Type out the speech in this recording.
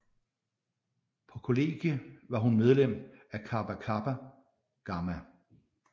På college var hun medlem af Kappa Kappa Gamma